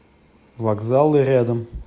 вокзалы рядом